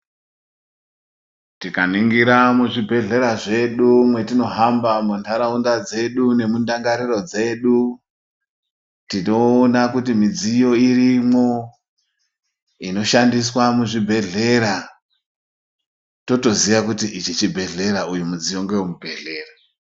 Tika ningira mu zvibhedhlera zvedu mwetino hamba mu mandaraunda dzedu nemu ndangariro dzedu tino ona kuti midziyo irimwo ino shandiswa mu zvibhedhlera toto ziya kuti ichi chibhedhlera uyu mudziyo ngewe mu bhedhlera.